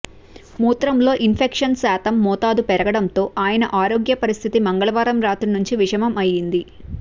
మూత్రంలో ఇన్ఫెక్షన్ శాతం మోతాదు పెరగడంతో ఆయన ఆరోగ్య పరిస్థితి మంగళవారం రాత్రి నుంచి విషమం అయింది